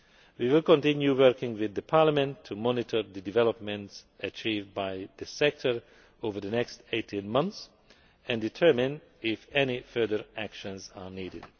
We will continue working with Parliament to monitor the developments achieved by the sector over the next 18 months and to determine whether any further action is needed.